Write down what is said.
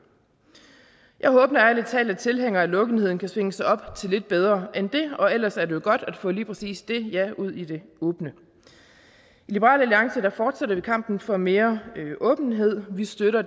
jeg håber ærlig talt at tilhængerne af lukketheden kan svinge sig op til noget lidt bedre end det og ellers er det jo godt at få lige præcis det ja ud i det åbne i liberal alliance fortsætter vi kampen for mere åbenhed vi støtter